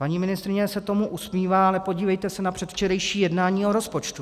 Paní ministryně se tomu usmívá, ale podívejte se na předvčerejší jednání o rozpočtu.